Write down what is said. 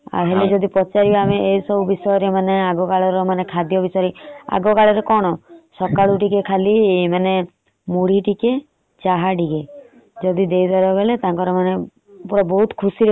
ଏ ଜିନିଷ ସବୁଜାଣୁଛନ୍ତି। ହେଲେ ଯଦି ପଚାରିବ ଏ ସବୁ ବିଷୟରେ ଆଗ କାଳରେ ଖାଦ୍ୟ ବିଷୟରେ । ଆଗ କାଳରେ କଣ ସକାଳୁ ଟିକେ ଖାଲି ମୁଢି ଟିକେ ଚା ଟିକେ ଯଦି ଦେଇଦେଲ ମାନେ ତାଙ୍କର ବହୁତ ଖୁସି ରେ ଖାଉଥିଲେ।